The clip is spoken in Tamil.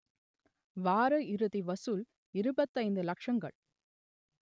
வார இறுதி வசூல் இருபத்தைந்து லக்ஷங்கள்